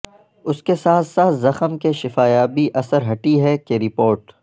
اس کے ساتھ ساتھ زخم کی شفا یابی اثر ھٹی ہے کہ رپورٹ